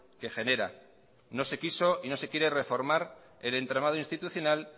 que generan no se quiso y no se quiere reformar el entramado institucional